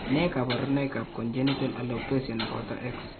Nee kabarunoikab Congenital alopecia ne boto X?